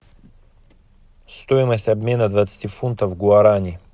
стоимость обмена двадцати фунтов в гуарани